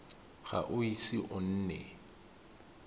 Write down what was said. ga o ise o nne